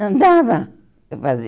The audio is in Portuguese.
Não dava para fazer.